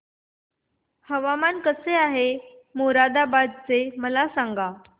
हवामान कसे आहे मोरादाबाद चे मला सांगा